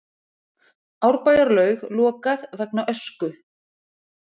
Árbæjarlaug lokað vegna ösku